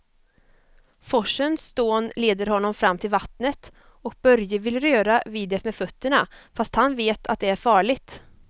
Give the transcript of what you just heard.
Forsens dån leder honom fram till vattnet och Börje vill röra vid det med fötterna, fast han vet att det är farligt.